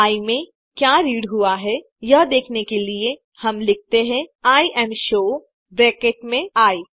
आई में क्या रीड हुआ है यह देखने के लिए हम लिखते हैं इमशो ब्रैकेट में आई